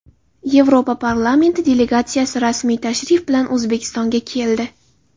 Yevropa parlamenti delegatsiyasi rasmiy tashrif bilan O‘zbekistonga keldi.